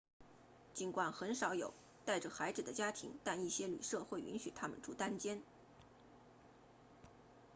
尽管很少有带着孩子的家庭但一些旅舍会允许他们住单间